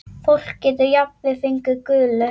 Fólk getur jafnvel fengið gulu.